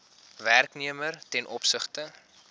werknemer ten opsigte